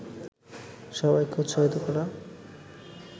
সবাইকে উৎসাহিত করা